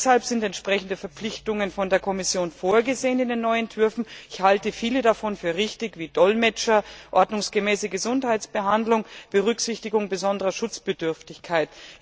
Deshalb sind entsprechende Verpflichtungen von der Kommission in den neuen Entwürfen vorgesehen. Ich halte viele davon für richtig wie Dolmetscher, ordnungsgemäße Gesundheitsbehandlung, Berücksichtigung besonderer Schutzbedürftigkeit.